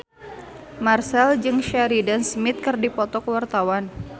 Marchell jeung Sheridan Smith keur dipoto ku wartawan